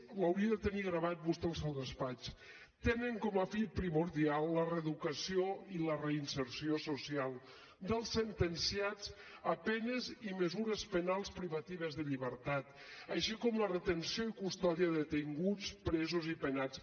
ho hauria de tenir gravat vostè al seu despatx tenen com a fi primordial la reeducació i la reinserció social dels sentenciats a penes i mesures penals privatives de llibertat així com la retenció i custòdia de detinguts presos i penats